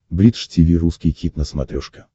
бридж тиви русский хит на смотрешке